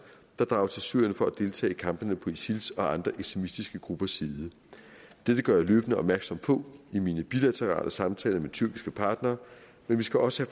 der drager til syrien for at deltage i kampene på isils og andre ekstremistiske gruppers side dette gør jeg løbende opmærksom på i mine bilaterale samtaler med tyrkiske partnere men vi skal også